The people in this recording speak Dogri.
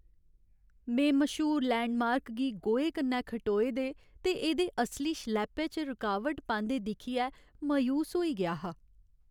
में मश्हूर लैंडमार्क गी गोएं कन्नै खटोए दे ते एह्दे असली शलैपे च रुकावट पांदे दिक्खियै मायूस होई गेआ हा।